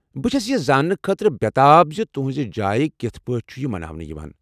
بہٕ چَھس یہِ زاننہٕ خٲطرٕ بےٚ تاب زِ تہنٛزِ جایہِ کِتھہٕ پٲٹھۍ چُھ یہِ مناوانہٕ یوان ۔